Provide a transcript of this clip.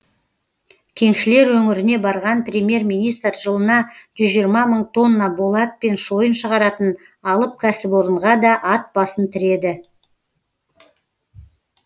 кеншілер өңіріне барған премьер министр жылына жүз жиырма мың тонна болат пен шойын шығаратын алып кәсіпорынға да ат басын тіреді